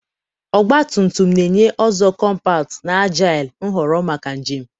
ọgba tum tum na-enye a ọzọ kọmpat na agile nhọrọ maka njem.